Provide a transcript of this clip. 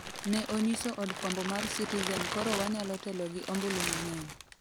ne onyiso od fwambo mar Citizen koro wanyalo telo gi ombulu mang'eny